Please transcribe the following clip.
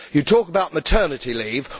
You talk about maternity leave.